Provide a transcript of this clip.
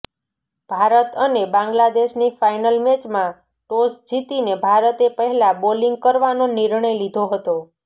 ભારત અને બાંગ્લાદેશની ફાઈનલ મેચમાં ટોસ જીતીને ભારતે પહેલા બોલિંગ કરવાનો નિર્ણય લીધો હતો